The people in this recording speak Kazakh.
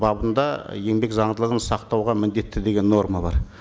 бабында еңбек заңдылығын сақтауға міндетті деген норма бар